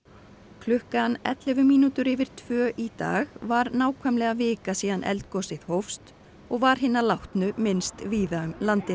klukkan ellefu mínútur yfir tvö í dag var nákvæmlega vika síðan eldgosið hófst og var hinna látnu minnst víða um landið